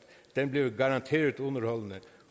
den bliver garanteret underholdende